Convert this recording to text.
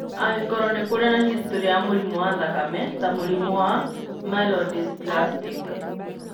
Angĩkorũo nĩ kũrĩ na historĩ ya mũrimũ wa thakame ta mũrimũ wa myelodysplastic.